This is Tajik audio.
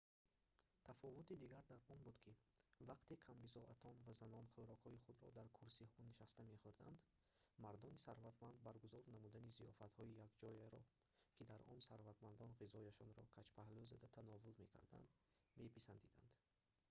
тафовути дигар дар он буд ки вақте камбизоатон ва занон хӯрокҳои худро дар курсиҳо нишаста мехӯрданд мардони сарватманд баргузор намудани зиёфатҳои якҷояро ки дар он сарватмандон ғизояшонро каҷпаҳлӯ зада тановул мекарданд меписандиданд